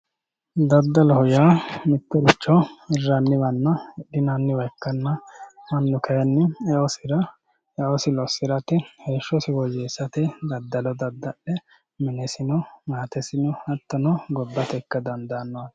Daddalloho yaa mittoricho hirranniwanna hidhinanniwa ikkanna mannu kayinni eosi losirate heeshshosi woyyeessate daddallo dadda'le minesino maatesino hattono gobbate ikka dandaano yaate.